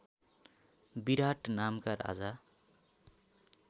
विराट नामका राजा